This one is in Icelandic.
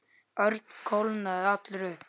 Örn kólnaði allur upp.